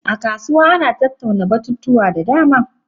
A kasuwa ana tattauna batutuwa da dama.